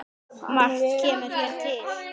Margt kemur hér til.